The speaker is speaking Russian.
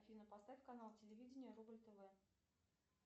афина поставь канал телевидения рубль тв